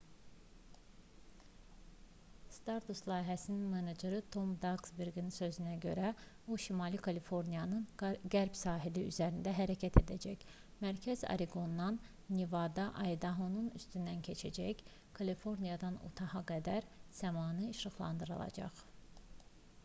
stardust layihəsinin meneceri tom daksberinin sözlərinə görə o şimali kaliforniyanın qərb sahili üzərində hərəkət edəcək mərkəzi oreqondan nevada və aydahonun üstündən keçərək kaliforniyadan utaha qədər səmanı işıqlandıracaq